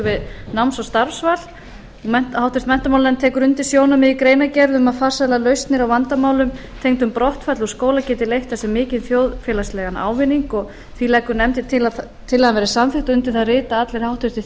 við náms og starfsval háttvirtur menntamálanefnd tekur undir sjónarmið í greinargerð um að farsælar lausnir á vandamálum tengdum brottfalli úr skóla geti leitt af sér mikinn þjóðfélagslegan ávinning því leggur nefndin til að tillagan verði samþykkt undir það rita allir háttvirtir